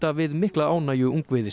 við mikla ánægju